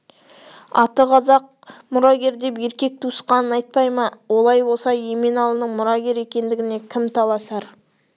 аты қазақ мұрагер деп еркек туысқанын айтпай ма олай болса еменалының мұрагер екендігіне кім таласар